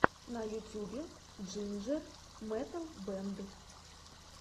на ютюбе джинджер метал бэнд